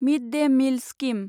मिड day meal scheme